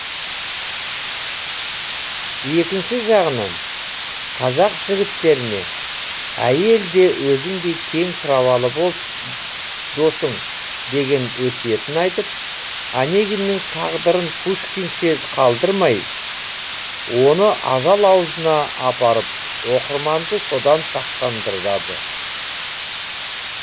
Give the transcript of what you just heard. екінші жағынан қазақ жігіттеріне әйел де өзіңдей тең праволы досың деген өсиетін айтып онегиннің тағдырын пушкинше қалдырмай оны ажал аузына апарып оқырманды содан сақтандырады